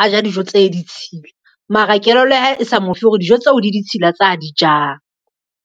a ja dijo tse ditshila, mara kelello ya hae e sa mofe hore dijo tseo di ditshila tse a di jang.